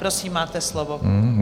Prosím, máte slovo.